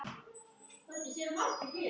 Ég hefði aldrei trúað því.